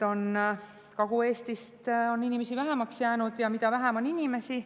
Kagu-Eestis on inimesi vähemaks jäänud ja mida vähem on inimesi …